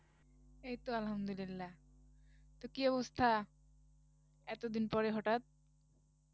এইতো আলহামদুলিল্লাহ তো কি অবস্থা? এতদিন পরে হঠাৎ